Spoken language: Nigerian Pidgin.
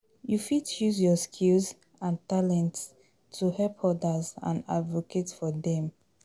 You fit use your skills and talents to help odas and advocate for dem.